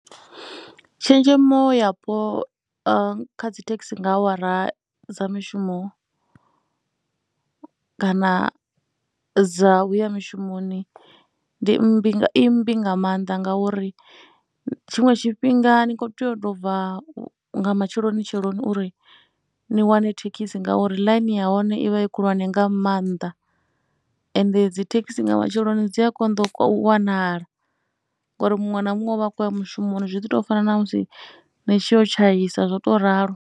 Tshenzhemo yapo kha dzi thekhisi nga awara dza mishumo kana dza u ya mishumoni ndi mmbi kana i mmbi nga maanḓa ngauri tshiṅwe tshifhinga ni khou tea u tou bva nga matsheloni tsheloni uri ni wane thekhisi ngauri ḽaini ya hone i vha i khulwane nga maanḓa. Ende dzi thekhisi nga matsheloni dzi a konḓa u wanala ngori muṅwe na muṅwe u vha khou ya mushumoni zwi ḓi tou fana na musi ni tshi ya u tshaisa zwo too ralo.